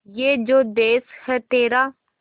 ये जो देस है तेरा